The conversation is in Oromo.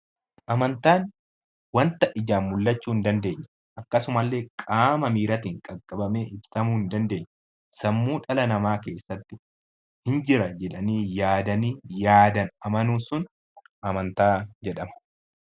Amantaan wanta ijaan mul'achuu hin dandeenye akkasuma qaama miiraatiin qaqqabamee hubatamuu hin dandeenye sammuu dhala namaa keessatti ni jira jedhanii yaadanii amanuun sun amantaa jedhama .